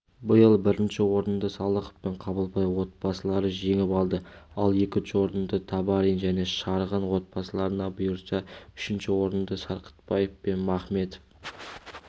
биыл бірінші орынды салықов пен қабылбай отбасыларыжеңіп алды ал екінші орынды табарин және шарғын отбасыларына бұйырса үшінші орынды сарқытбаев пен махметов